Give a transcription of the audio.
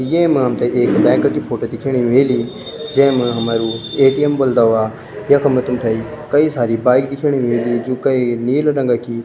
येमा हमथे की एक बैंक का की फोटो दिखेणी ह्वेली जैमा हमरू ए.टी.एम. बुल्दो वा यखम तुम्तेई कई सारी बाइक दिखेणी ह्वेली जू कए नीलू रंगा की --